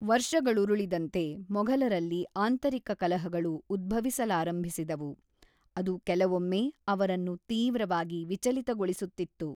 ವರ್ಷಗಳುರುಳಿದಂತೆ, ಮೊಘಲರಲ್ಲಿ ಆಂತರಿಕ ಕಲಹಗಳು ಉದ್ಭವಿಸಲಾರಂಭಿಸಿದವು, ಅದು ಕೆಲವೊಮ್ಮೆ ಅವರನ್ನು ತೀವ್ರವಾಗಿ ವಿಚಲಿತಗೊಳಿಸುತ್ತಿತ್ತು.